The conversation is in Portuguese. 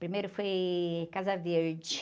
Primeiro foi Casa Verde.